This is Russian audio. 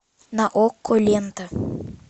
на окко лента